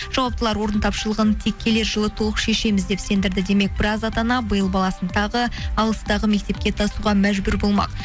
жауаптылар орын тапшылығын тек келер жылы толық шешеміз деп сендірді демек біраз ата ана биыл баласын тағы алыстағы мектепке тасуға мәжбүр болмақ